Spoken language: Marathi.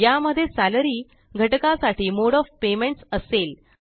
या मध्ये सॅलरी घटका साठी मोडे ओएफ पेमेंट्स असेल